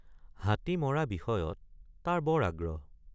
হাতী মৰা বিষয়ত তাৰ বৰ আগ্ৰহ।